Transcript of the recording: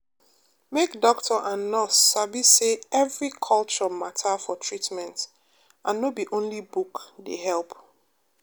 make doctor and nurse sabi say every culture matter for treatment no be only book dey help.